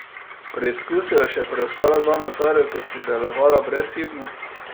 Preizkusil je še preostala dva motorja, ki sta delovala brezhibno.